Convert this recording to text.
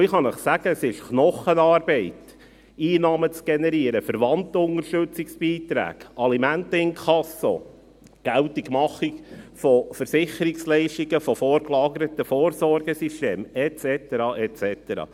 Ich kann Ihnen sagen, dass es Knochenarbeit ist, Einnahmen zu generieren, Verwandtenunterstützungsbeiträge, Alimenteninkasso, Versicherungsleistungen von vorgelagerten Vorsorgesystemen geltend zu machen et cetera.